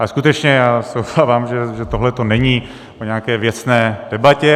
Ale skutečně, já se obávám, že tohleto není o nějaké věcné debatě.